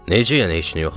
Necə yəni heç nə yoxdur?